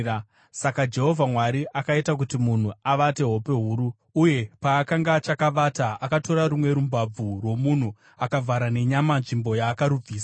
Saka Jehovha Mwari akaita kuti munhu avate hope huru; uye paakanga achakavata, akatora rumwe rumbabvu rwomunhu akavhara nenyama nzvimbo yaakarubvisa.